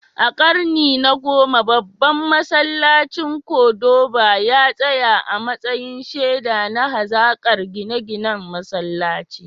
A karni na 10, babban masallacin Cordoba ya tsaya a matsayin shaida na hazaƙar gine-ginen Musulunci.